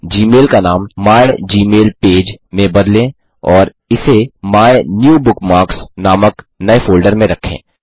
Gmail का नाम my Gmail page में बदलें और इसे मायन्यूबुकमार्क्स नामक नए फ़ोल्डर में रखें